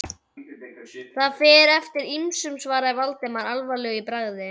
Það fer eftir ýmsu- svaraði Valdimar alvarlegur í bragði.